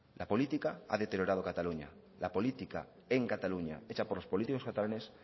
la política ha deteriorado cataluña la política en cataluña hecha por los políticos catalanes